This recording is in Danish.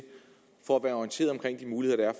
for at være orienteret om de muligheder